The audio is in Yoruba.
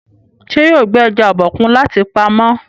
ṣe yóò gbé eja Obokun láti pàmò.?